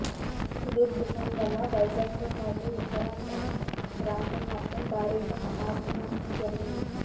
Hudhud తుఫాన్ వల్ల వైజాగ్ తో పాటు ఉత్తరాంధ్ర ప్రాంతం మొత్తం భారీగా ఆస్తి నష్టం జరిగింది